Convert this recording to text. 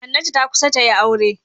Hannatu ta kusa ta yi aure.